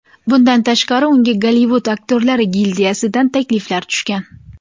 Bundan tashqari, unga Gollivud Aktyorlar gildiyasidan takliflar tushgan.